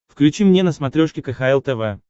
включи мне на смотрешке кхл тв